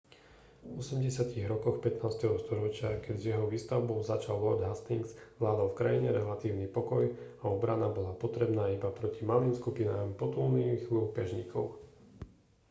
v 80. rokoch 15. storočia keď s jeho výstavbou začal lord hastings vládol v krajine relatívny pokoj a obrana bola potrebná iba proti malým skupinám potulných lúpežníkov